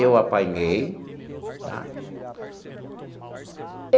Eu apanhei, tá?